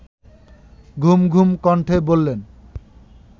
ঘুমঘুম কণ্ঠে বললেন